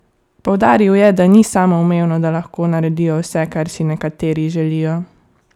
Poudaril je, da ni samoumevno, da lahko naredijo vse, kar si nekateri želijo.